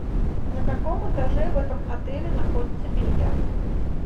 на каком этаже в этом отеле находится бильярд